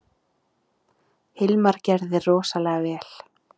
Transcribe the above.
Hilmar gerði rosalega vel.